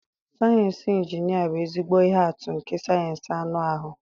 Sayensị injinia bụ ezigbo ihe atụ nke sayensị anụ ahụ.